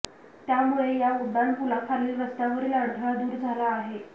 त्यामुळे या उड्डाण पुलाखालील रस्त्यावरील अडथळा दूर झाला आहे